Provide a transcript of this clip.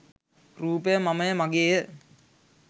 රූපය මමය, මගේය,